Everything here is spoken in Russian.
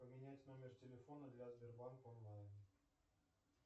поменять номер телефона для сбербанк онлайн